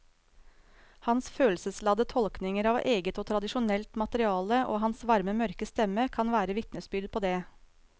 Hans følelsesladde tolkninger av eget og tradisjonelt materiale og hans varme mørke stemme kan være vitnesbyrd på det.